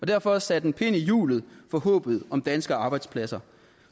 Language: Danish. derfor sat en kæp i hjulet for håbet om danske arbejdspladser